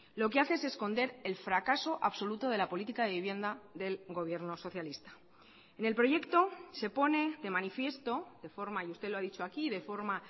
lo que hace es esconder el fracaso absoluto de la política de vivienda del gobierno socialista en el proyecto se pone de manifiesto de forma y usted lo ha dicho aquí de forma